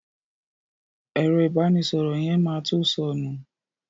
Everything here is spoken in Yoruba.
Ẹ̀rọ ìbánísọ̀rọ̀ yẹn ma to sọnù